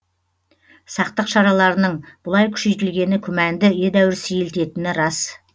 сақтық шараларының бұлай күшейтілгені күмәнді едәуір сейілтетіні рас